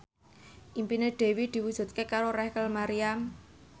impine Dwi diwujudke karo Rachel Maryam